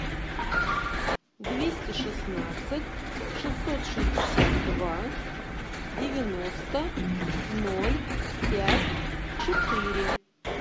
двести шестнадцать шестьсот шестьдесят два девяносто ноль пять четыре